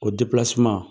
O